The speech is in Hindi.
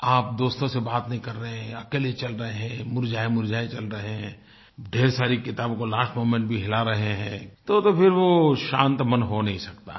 आप दोस्तों से बात नहीं कर रहे हैं या अकेले चल रहे हैं मुरझाएमुरझाए चल रहे हैं ढेर सारी किताबों को लास्ट मोमेंट भी हिला रहे हैं तोतो फिर वो शांत मन हो नहीं सकता है